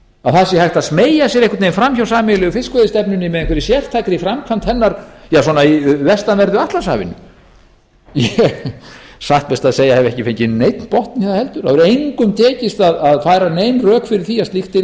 að það sé hægt að smeygja sér einhvern veginn framhjá sameiginlegu fiskveiðistefnunni með einhverri sértækri framkvæmd hennar í vestanverðu atlantshafinu ég hef satt best að segja ekki fengið neinn botn í það heldur það hefur engum tekist að færa nein rök fyrir því að slíkt yrði